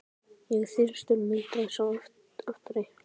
Ég er þyrstur muldraði sá aftari.